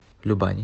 любани